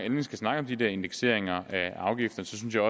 endelig skal snakke om de der indekseringer af afgifter så synes jeg